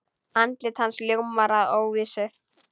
Andlit hans ljómar af óvissu.